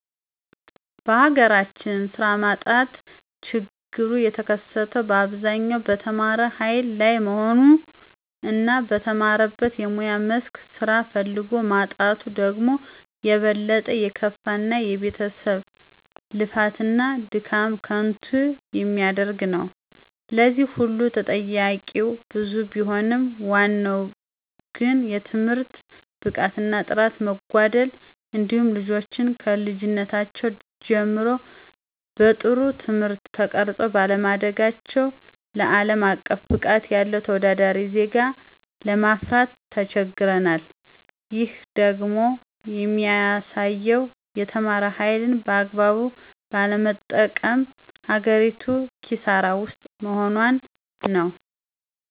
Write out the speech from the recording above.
በሀገራችን ስራ ማጣት ችግሩ የተከሰተው በአብዛኛው በተማረ ሀይል ላይ መሆኑ እና በተማረበት የሙያ መስክ ስራ ፈልጎ ማጣቱ ደግሞ የበለጠ የከፋ እና የቤተሰብን ልፋት እና ድካም ከንቱ የሚያደርግ ነው። ለዚህ ሁሉ ተጠያቂዉ ብዙ ቢሆንም ዋናው ግን የትምህርት ብቃት እና ጥራት መጓደል እንዲሁም ልጆችን ከልጅነታቸው ጀምረው በጥሩ ትምህርት ተቀርፀው ባለማደጋቸው አለም አቀፍ ብቃት ያለው ተወዳዳሪ ዜጋ ለማፍራት ተቸግረናል። ይህም ደግሞ የሚያሳየው የተማረ ሀይልን በአግባቡ ባለመጠቀም ሀገሪቱ ክሳራ ውስጥ መሆኗን ነው።